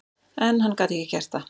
En hann gat ekki gert það.